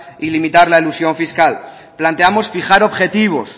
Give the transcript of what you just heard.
y limitar la elusión fiscal planteamos fijar objetivos